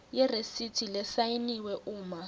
yeresithi lesayiniwe uma